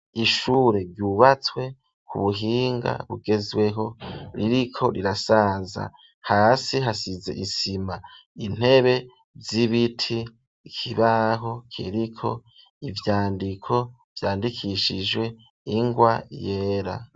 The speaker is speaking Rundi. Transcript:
Ishure ryubatswe ku buhinga bugezweho ririko rirasaza, hasi hasize isima intebe z'ibiti, ikibaho kiriko ivyandiko vyandikishijwe ingwa yera.